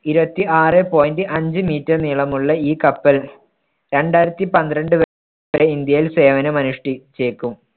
ഇരുപത്തി ആറെ point അഞ്ച് meter നീളമുള്ള ഈ കപ്പൽ രണ്ടായിരത്തി പന്ത്രണ്ട് വരെ ഇന്ത്യയിൽ സേവനമനുഷ്ഠിച്ചേക്കും.